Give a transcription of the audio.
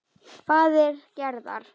Faðir Gerðar.